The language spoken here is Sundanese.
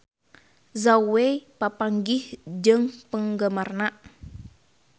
Zhao Wei papanggih jeung penggemarna